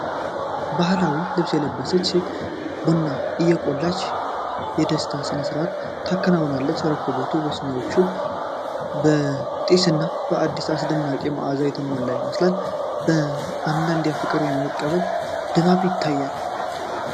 ባህላዊ ልብስ የለበሰች ሴት ቡና እየቆላች የደስታ ሥነ-ሥርዓት ታከናውናለች። ረከቦቱ በሲኒዎችና በጢስና በአደስ አስደናቂ መዓዛ የተሞላ ይመስላል። እንግዳን በፍቅር የመቀበል ድባብ ይታያል።